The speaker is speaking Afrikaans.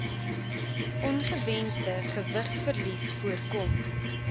ongewensde gewigsverlies voorkom